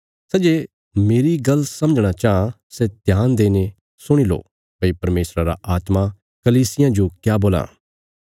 सै जे मेरी गल्ल समझणा चाँह सै ध्यान देईने सुणी लो भई परमेशरा रा आत्मा कलीसियां जो क्या बोलां